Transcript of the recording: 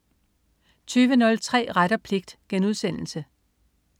20.03 Ret og pligt*